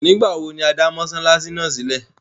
Nígbawo ni a dá Mossalasi náà sílẹ?